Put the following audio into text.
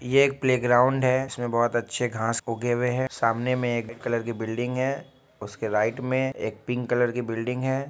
ये एक प्लेग्राउंड है इसमें बहोत अच्छे घास उगे हुए है सामने में एक कलर की बिल्डिंग है उसके राइट में एक पिंक कलर की बिल्डिंग है।